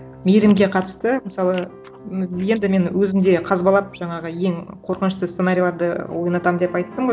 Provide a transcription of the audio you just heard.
мейірімге қатысты мысалы енді мен өзім де қазбалап жаңағы ең қорқынышты сценарийларды ойнатамын деп айттым ғой